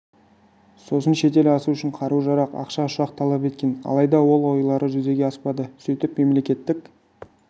сосын шетел асу үшін қару-жарақ ақша ұшақ талап еткен алайда ол ойлары жүзеге аспады сөйтіп мемлекеттік